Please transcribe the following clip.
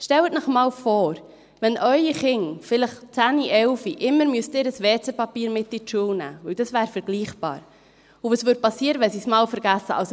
Stellen Sie sich einmal vor, wenn Ihre Kinder, vielleicht 10- oder 11-jährig, immer ihr WC-Papier mit zur Schule nehmen müssten, denn das wäre vergleichbar, und was geschehen würde, wenn sie es einmal vergessen würden.